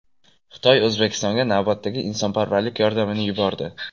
Xitoy O‘zbekistonga navbatdagi insonparvarlik yordamini yubordi.